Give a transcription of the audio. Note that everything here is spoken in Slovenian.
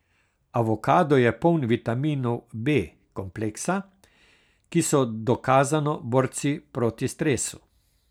Avokado je poln vitaminov B kompleksa, ki so dokazano borci proti stresu.